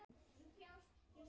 Hvert gátuð þið sótt tekjur?